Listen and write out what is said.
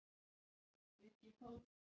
Láttu þvottinn vera sagði hún hvöss.